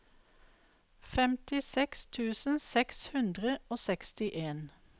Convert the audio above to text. femtiseks tusen seks hundre og sekstien